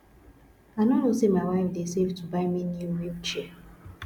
i no know say my wife dey save to buy me new wheel chair